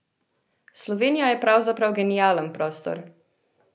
Slovenija je pravzaprav genialen prostor!